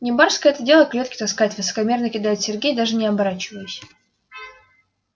не барское это дело клетки таскать высокомерно кидает сергей даже не оборачиваясь